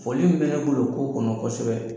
Foli min bɛ ne bol'o ko kɔnɔ kɔsɛbɛ